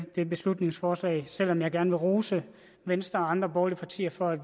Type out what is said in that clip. dette beslutningsforslag selv om jeg gerne vil rose venstre og andre borgerlige partier for at